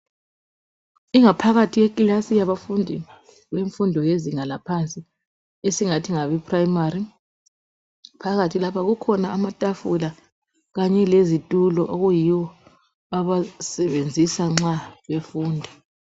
Ingaphakathi yekilasi yabafundi bemfundo yezinga laphansi esingathi ngabe primary phakathi lapha kukhona amatafula kanye lezitulo okuyiwo abawasebenzisa nxa befunda.